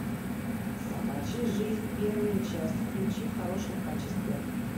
собачья жизнь первая часть включи в хорошем качестве